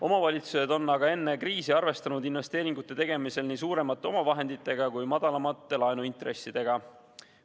Omavalitsused on aga enne kriisi arvestanud investeeringute tegemisel nii suuremate omavahenditega kui ka madalamate laenuintressidega.